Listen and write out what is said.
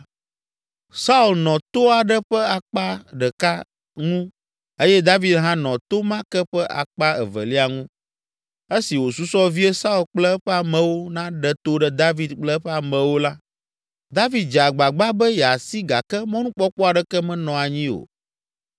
Saul nɔ to aɖe ƒe akpa ɖeka ŋu eye David hã nɔ to ma ke ƒe akpa evelia ŋu. Esi wòsusɔ vie Saul kple eƒe amewo naɖe to ɖe David kple eƒe amewo la, David dze agbagba be yeasi gake mɔnukpɔkpɔ aɖeke menɔ anyi o.